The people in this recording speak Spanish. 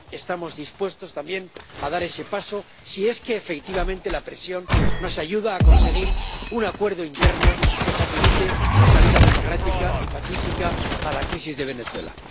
Estamos dispuestos también a dar ese paso si es que efectivamente la presión nos ayuda a conseguir un acuerdo interno que facilite la salida democrática y pacífica a la crisis de Venezuela.